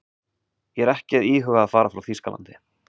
Ég er ekki að íhuga að fara frá Þýskalandi.